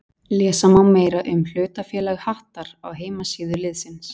Lesa má meira um hlutafélag Hattar á heimasíðu liðsins.